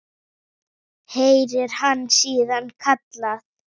heyrir hann síðan kallað.